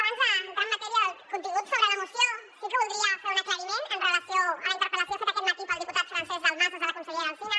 abans d’entrar en matèria del contingut sobre la moció sí que voldria fer un aclariment amb relació a la interpel·lació feta aquest matí pel diputat francesc dalmases a la consellera alsina